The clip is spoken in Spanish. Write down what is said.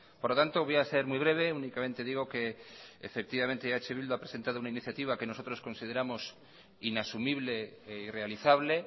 por lo tanto voy a ser muy breve únicamente digo que eh bildu ha presentado una iniciativa que nosotros consideramos inasumible e irrealizable